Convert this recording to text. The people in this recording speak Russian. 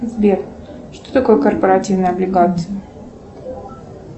сбер что такое корпоративная облигация